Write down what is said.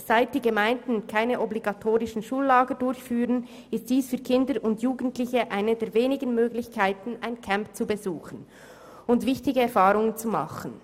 Seitdem die Gemeinden keine obligatorischen Schullager mehr durchführen, ist dies für Kinder und Jugendliche eine der wenigen Möglichkeiten, ein Camp zu besuchen und wichtige Erfahrungen zu machen.